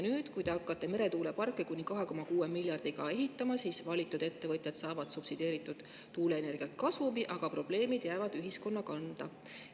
Nüüd, kui te hakkate meretuuleparke kuni 2,6 miljardi euroga ehitama, saavad valitud ettevõtjad subsideeritud tuuleenergialt kasumi, aga probleemid jäävad ühiskonna kanda.